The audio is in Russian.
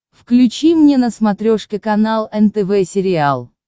включи мне на смотрешке канал нтв сериал